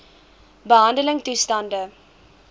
behandeltoestande